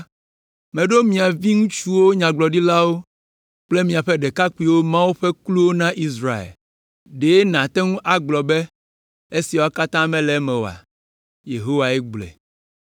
Meɖo mia viŋutsuwo nyagblɔɖilawo kple míaƒe ɖekakpuiwo Mawu ƒe kluwo na Israel; ɖe nàte ŋu agblɔ be esiawo katã mele eme oa? Yehowae gblɔe.